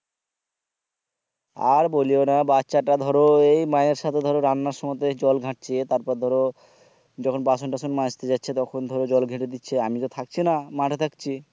আর বলিওনা বাচ্চাটা ধরো এই মায়ের সাথে ধরো রান্নার সমতে জল ঘটছে তারপর ধরো যখন বাসন টাশন মাঝতে যাচ্ছে তখন ধরো জল ঘেটে দিচ্ছে আমি তো থাকিছি না মাঠে থাকছি